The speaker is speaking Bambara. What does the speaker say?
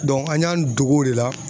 an y'an dogo o de la